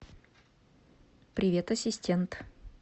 привет ассистент